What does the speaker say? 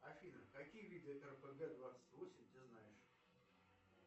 афина какие виды рпг двадцать восемь ты знаешь